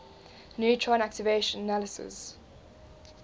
neutron activation analysis